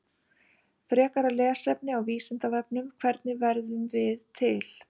Frekara lesefni á Vísindavefnum: Hvernig verðum við til?